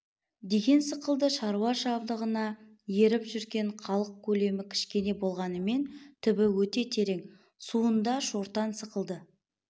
деген сықылды шаруа жабдығына еріп жүрген халық көлемі кішкене болғанмен түбі ете терең суында шортан сықылды